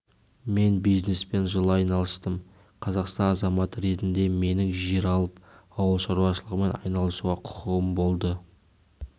мен бизнеспен жыл айналыстым қазақстан азаматы ретінде менің жер алып ауыл шаруашылығымен айналысуға құқығым болды